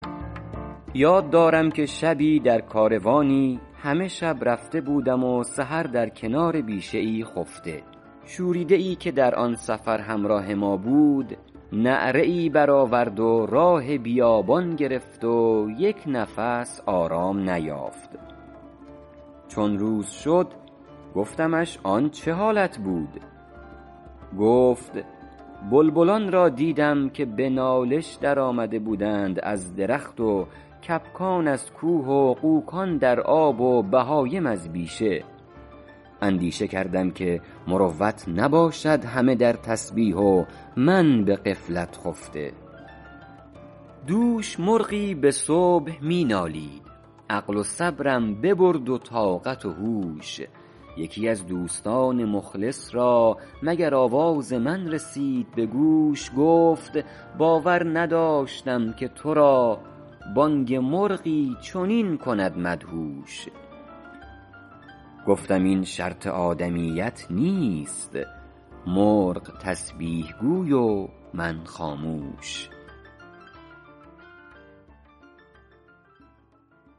یاد دارم که شبی در کاروانی همه شب رفته بودم و سحر در کنار بیشه ای خفته شوریده ای که در آن سفر همراه ما بود نعره ای برآورد و راه بیابان گرفت و یک نفس آرام نیافت چون روز شد گفتمش آن چه حالت بود گفت بلبلان را دیدم که به نالش در آمده بودند از درخت و کبکان از کوه و غوکان در آب و بهایم از بیشه اندیشه کردم که مروت نباشد همه در تسبیح و من به غفلت خفته دوش مرغی به صبح می نالید عقل و صبرم ببرد و طاقت و هوش یکی از دوستان مخلص را مگر آواز من رسید به گوش گفت باور نداشتم که تو را بانگ مرغی چنین کند مدهوش گفتم این شرط آدمیت نیست مرغ تسبیح گوی و من خاموش